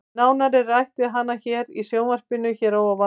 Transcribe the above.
Nánar er rætt við hana hér í sjónvarpinu hér að ofan.